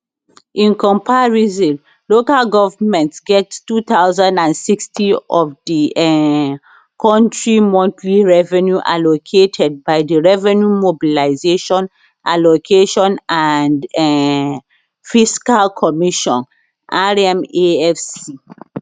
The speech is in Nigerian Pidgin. in comparison local goverment get two thousand and sixty of of di um kontri monthly revenue allocated by di revenue mobilisation allocation and um fiscal commission rmafc